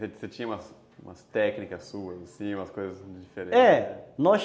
Você tinha umas umas técnicas suas assim, umas coisas diferentes?